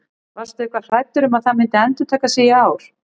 Varstu eitthvað hræddur um að það myndi endurtaka sig í ár?